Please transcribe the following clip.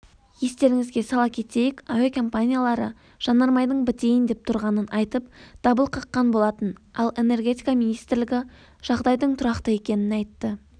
естеріңізге сала кетейік әуекомпаниялары жанармайдың бітейін деп тұрғанын айтып дабыл қаққан болатын ал энергетика министрлігі жағдайдың тұрақты екенін айтты